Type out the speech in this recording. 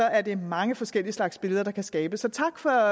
er det mange forskellige slags billeder der kan skabes så tak for